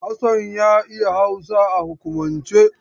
Hassan ya iya Hausa a hukumance.